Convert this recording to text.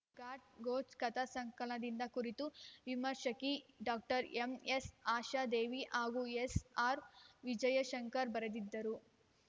ಘಾರ್‌ ಘೋಚರ್‌ ಕಥಾ ಸಂಕಲನದ ಕುರಿತು ವಿಮರ್ಶಕಿ ಡಾಕ್ಟರ್ ಎಂಎಸ್‌ ಆಶಾದೇವಿ ಹಾಗೂ ಎಸ್‌ಆರ್‌ವಿಜಯಶಂಕರ್‌ ಬರೆದಿದ್ದರು